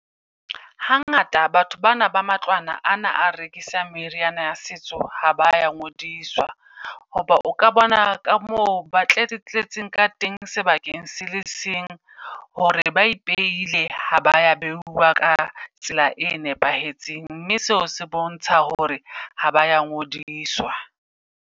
Hangata batho bana ba matlwana ana a rekisang meriana ya setso ha ba ya ngodiswa. Hoba o ka bona ka moo ba tle re tletseng ka teng sebakeng sele seng. Hore ba ipeile ha ba ya beuwa ka tsela e nepahetseng. Mme seo se bontsha hore ha ba ya ngodiswa.